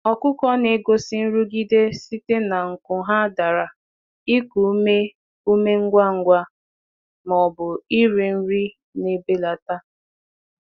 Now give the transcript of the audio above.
Anụ ọkụkọ na-egosi ihe mgbu site n’akwọpụ aka, iku ume ike, um ma ọ bụ ịgbatị azụ inye nri.